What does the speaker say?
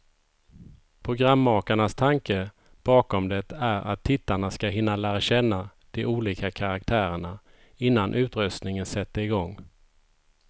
Programmakarnas tanke bakom det är att tittarna ska hinna lära känna de olika karaktärerna, innan utröstningen sätter igång.